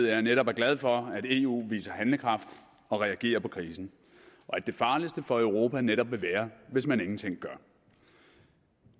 jeg netop er glad for at eu viser handlekraft og reagerer på krisen og at det farligste for europa netop vil være hvis man ingenting gør